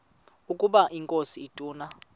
ukaba inkosi ituna